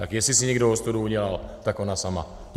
Tak jestli si někdo ostudu udělal, tak ona sama.